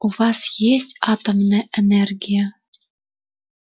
у вас есть атомная энергия